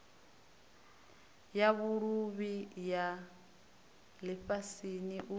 ya vhuluvhi ya lifhasini u